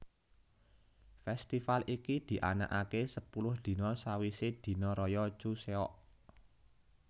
Festival iki dianakake sepuluh dina sawise dina raya Chuseok